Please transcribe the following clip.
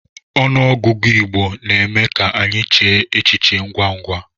Ọnụọgụgụ Igbo na-eme ka anyị chee e echiche ngwa ngwa.